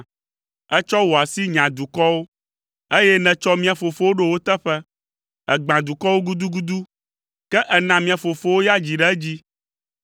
Ètsɔ wò asi nya dukɔwo, eye nètsɔ mía fofowo ɖo wo teƒe. Ègbã dukɔwo gudugudu, ke èna mía fofowo ya dzi ɖe edzi.